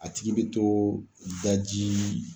A tigi bɛ to daji